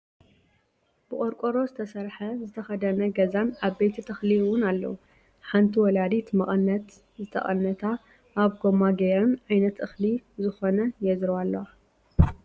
ብቆርቆሮ ዝተሰረሐ ዝተከደነ ገዛን ዓበይቲ ተክሊ እውንኣለው። ሓንቲ ወላዲት መቀነት ዝተቀነታ ኣብ ጎማ ገይረን ዓይነት እክሊ ዝኮነ የዝርዋ ኣለዋ ።